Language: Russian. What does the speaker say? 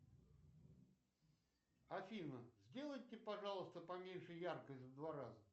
афина сделайте пожалуйста поменьше яркость в два раза